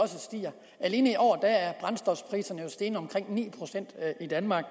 alene i år er brændstofpriserne steget med omkring ni procent i danmark